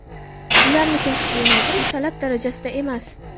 ularni kasbga yo‘naltirish talab darajasida emas.